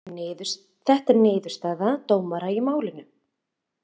Þetta er niðurstaða dómara í málinu